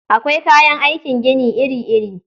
Akwai kayan aikin gini iri-iri.